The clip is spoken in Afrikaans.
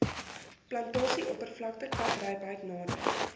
plantasieoppervlakte kaprypheid nader